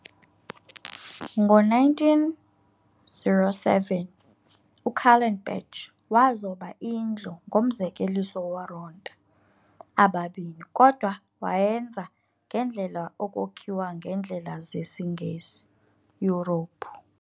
ngo 1907, uKallenbach wazoba indlu ngomzekeliso woronta ababini kodwa wayenza ngendlela yokokhiwa ngendlela zesi Ngesi, Europe.